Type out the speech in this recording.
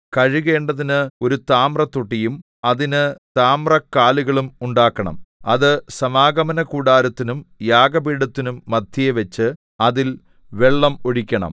കഴുകേണ്ടതിന് ഒരു താമ്രത്തൊട്ടിയും അതിന് താമ്രക്കാലുകളും ഉണ്ടാക്കണം അത് സമാഗമനകൂടാരത്തിനും യാഗപീഠത്തിനും മദ്ധ്യേ വച്ച് അതിൽ വെള്ളം ഒഴിക്കണം